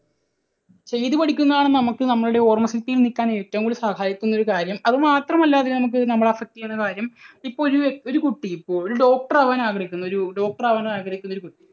ചെയ്തു പഠിക്കുന്നതാണ് നമുക്ക് നമ്മളുടെ ഓർമ്മശക്തി നിൽക്കാൻ ഏറ്റവും കൂടുതൽ സഹായിക്കുന്ന ഒരു കാര്യം. അതുമാത്രമല്ല അതിനെ നമുക്ക് നമ്മളെ affect ചെയ്യുന്ന കാര്യം ഇപ്പോൾ ഒരു വ്യക്തി, ഒരു കുട്ടി, ഒരു doctor ആകാൻ ആഗ്രഹിക്കുന്നു. ഒരു doctor ആകാൻ ആഗ്രഹിക്കുന്ന ഒരു കുട്ടി